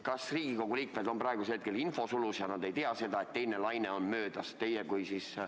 Kas Riigikogu liikmed on praegusel hetkel infosulus ja nad ei tea, et teine laine on möödas?